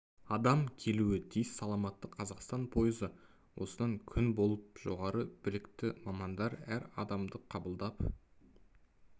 адам келуі тиіс саламатты қазақстан пойызы осында күн болып жоғары білікті мамандар әр адамды қабылдап